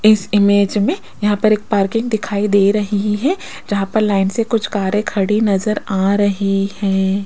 इस इमेज में यहां पर एक पार्किंग दिखाई दे रही है जहां पर लाइन से कुछ कारे खड़ी नजर आ रही हैं।